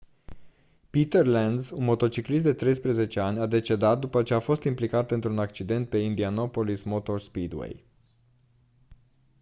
peter lenz un motociclist de 13 ani a decedat după ce a fost implicat într-un accident pe indianapolis motor speedway